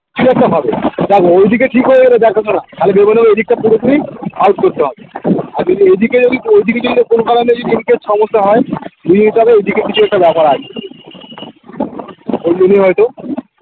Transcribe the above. সে তো হবে দেখো ঐদিকে কি করবে ওরা দেখাশোনা ওদিকটা পুরোপুরি out করতে হবে আর যদি এদিকে যদি ঐদিকে যদি না কোনো কারণে যদি এদিকে সমস্যা হয় বুঝে নিতে হবে ঐদিকে কিছু একটা ব্যাপার আছে ঐজন্যেই হয়তো